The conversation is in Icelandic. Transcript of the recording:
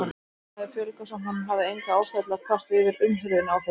Þeim hafði fjölgað, svo hann hafði enga ástæðu til að kvarta yfir umhirðunni á þeim.